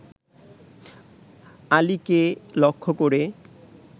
আলিকে লক্ষ করে